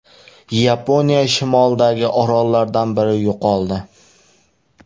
Yaponiya shimolidagi orollardan biri yo‘qoldi.